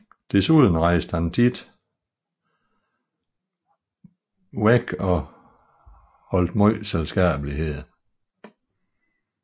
Desuden rejste han rejste ofte bort og holdt megen selskabelighed